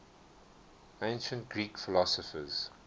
ancient greek philosophers